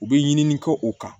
U bɛ ɲini kɛ u kan